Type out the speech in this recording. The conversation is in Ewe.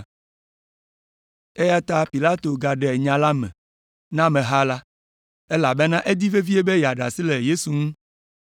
Eya ta Pilato gaɖe nya me na ameha la, elabena edi vevie be yeaɖe asi le Yesu ŋu.